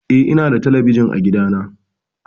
Eh, ina da talabijin a gida na.